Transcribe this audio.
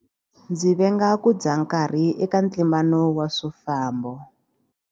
Ndzi venga ku dya nkarhi eka ntlimbano wa swifambo.